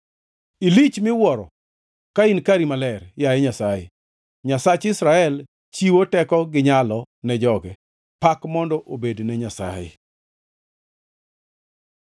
Ilich miwuoro ka in kari maler, yaye Nyasaye, Nyasach Israel chiwo teko gi nyalo ne joge. Pak mondo obed ne Nyasaye!